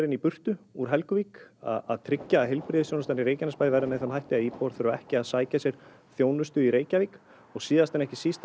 í burtu úr Helguvík að tryggja að heilbrigðisþjónustan í Reykjanesbæ verði með þeim hætti að íbúar þurfa ekki að sækja sér þjónustu í Reykjavík og síðan en ekki síst